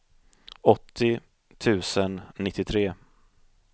åttio tusen nittiotre